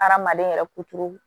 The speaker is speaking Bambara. Hadamaden yɛrɛ kuturu